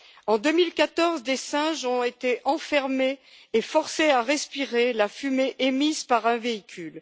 En 2014, des singes ont été enfermés et forcés à respirer la fumée émise par un véhicule.